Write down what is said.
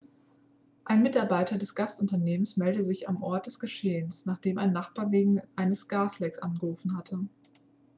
ein mitarbeiter des gasunternehmns meldete sich am ort des geschehens nachdem ein nachbar wegen eines gaslecks angerufen hatte.x